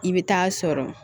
I bɛ taa sɔrɔ